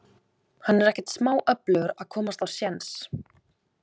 Hann er ekkert smá öflugur að komast á séns.